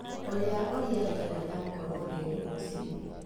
Ũria ũrĩa rĩera rĩgaakorũo rĩrĩ rũcinĩ